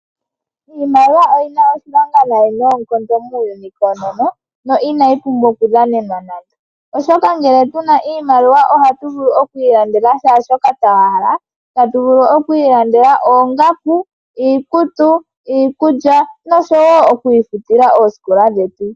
Iimaliwa oyi na oshilonga nayi noonkondo muuyuni koonono no ina yi pumbwa okudhanenwa nande oshoka ngele tu na iimaliwa oha tu vulu okwiilandela kehe shoka twa hala ta tu vulu okwiilandela oongaku, iikutu, iikulya noshowo okwiifutila oosikola dhetu.